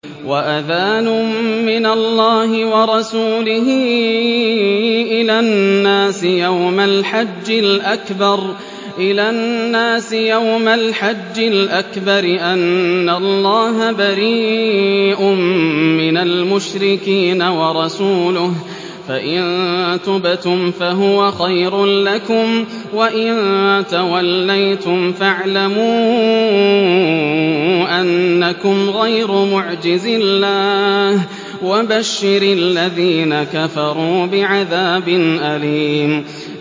وَأَذَانٌ مِّنَ اللَّهِ وَرَسُولِهِ إِلَى النَّاسِ يَوْمَ الْحَجِّ الْأَكْبَرِ أَنَّ اللَّهَ بَرِيءٌ مِّنَ الْمُشْرِكِينَ ۙ وَرَسُولُهُ ۚ فَإِن تُبْتُمْ فَهُوَ خَيْرٌ لَّكُمْ ۖ وَإِن تَوَلَّيْتُمْ فَاعْلَمُوا أَنَّكُمْ غَيْرُ مُعْجِزِي اللَّهِ ۗ وَبَشِّرِ الَّذِينَ كَفَرُوا بِعَذَابٍ أَلِيمٍ